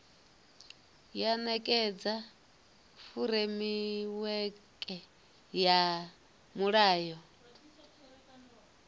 ya nekedza furemiweke ya mulayo